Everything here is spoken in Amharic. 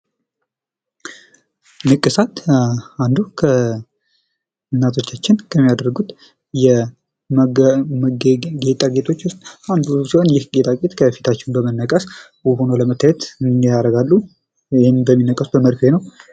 ንቅሳት አንዱ እናቶቻችን ከሚያደርጉት ጌጣጌጦች ውስጥ አንዱ ሲሆን ይህ ጌጣጌጥ ከፊታችን በመነቀስ ውብ ሆኖ ለመታየት ያደርጋሉ ይህን በሚነቀሱበት በመርፌ ነው ።